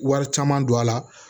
Wari caman don a la